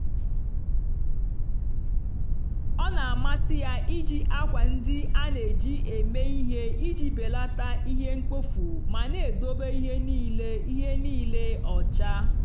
ọ na-amasị ya iji akwa ndị a na-eji eme ihe iji belata ihe mkpofu ma na-edobe ihe niile ihe niile ọcha.